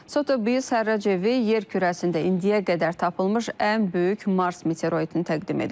Sotebis hərrac evi yer kürəsində indiyə qədər tapılmış ən böyük Mars meteoroidini təqdim edib.